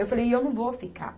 Eu falei, e eu não vou ficar.